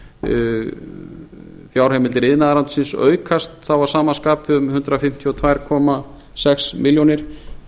að samgönguráðuneytinu fjárheimildir iðnaðarráðuneytisins aukast þá að sama skapi um hundrað fimmtíu og tvö komma sex milljónir